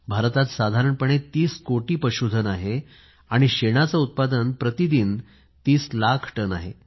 भारतात साधारणपणे 30 कोटी पशुधन आहे आणि शेणाचे उत्पादन प्रती दिन 30 लाख टन आहे